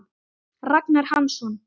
Ragnar Hansson